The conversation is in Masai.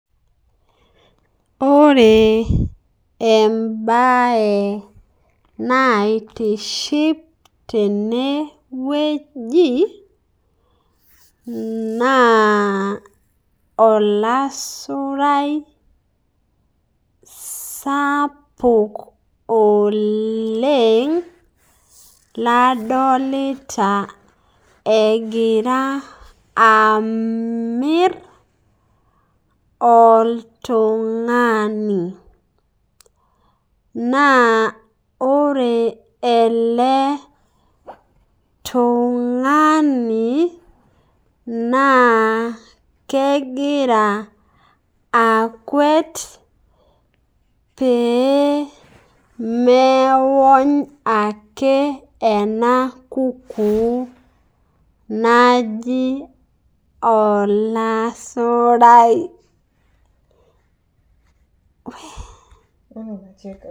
Ore enabae naitiship tenewueji, naa olasurai sapuk oleng, ladolito egira amir oltung'ani. Naa ore ele tung'ani, naa kegira akuet pee meony ake ena kukuu naji olasurai.